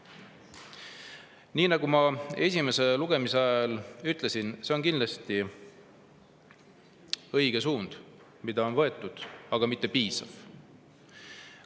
Nii nagu ma ka esimese lugemise ajal ütlesin, on see suund, mis on võetud, kindlasti õige, aga mitte piisav.